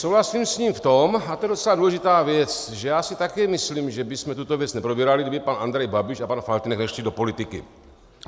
Souhlasím s ním v tom, a to je docela důležitá věc, že já si také myslím, že bychom tuto věc neprobírali, kdyby pan Andrej Babiš a pan Faltýnek nešli do politiky.